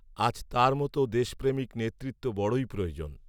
আজ তার মত দেশপ্রেমিক নেতৃত্ব বড়ই প্রয়োজন